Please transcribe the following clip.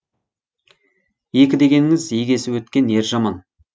екі дегеніңіз егесіп өткен ер жаман